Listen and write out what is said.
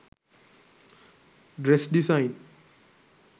dress design